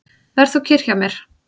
Ver þú kyrr hjá mér.